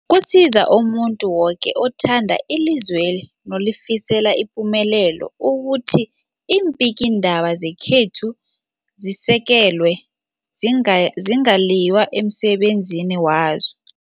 Kusiza umuntu woke othanda ilizweli nolifisela ipumelelo ukuthi iimbikiindaba zekhethu zisekelwe, zinga zingaliywa emsebenzini wazo.